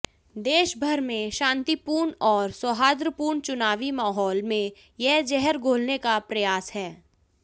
देश भर में शांतिपूर्ण और सौहार्दपूर्ण चुनावी माहौल में यह जहर घोलने का प्रयास है